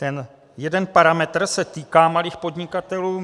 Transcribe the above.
Ten jeden parametr se týká malých podnikatelů.